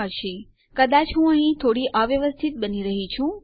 ઠીક છે કદાચ હું અહીં થોડી અવ્યવસ્થિત બની રહ્યી છું